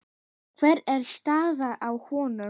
Hver er staðan á honum?